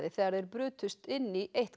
þegar þeir brutust inn í eitt